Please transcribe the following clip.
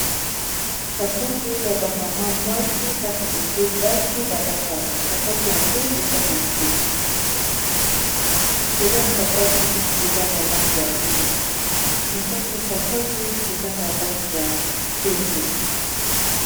sapato oyo ya bamama mwasi na bilenge basi balataka sapato yango eza na se likolo ya sapato eza na lange ya mwingi na kati ya sapato eza na lange ya pembe